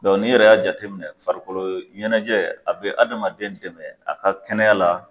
n' yɛrɛ y'a jateminɛ farikolo ɲɛnajɛ a bɛ adamaden dɛmɛ a ka kɛnɛya la.